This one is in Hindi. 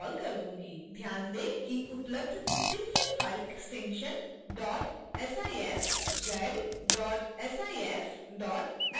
ध्यान दें कि उपलब्ध synfig file extension dot sifz dot sif dot sfg हैं